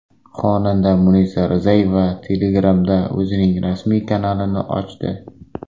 Xonanda Munisa Rizayeva Telegram’da o‘zining rasmiy kanalini ochdi.